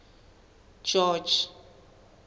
george